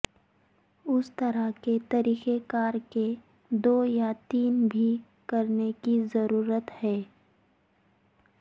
اس طرح کے طریقہ کار کے دو یا تین بھی کرنے کی ضرورت ہے